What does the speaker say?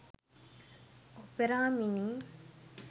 opera mini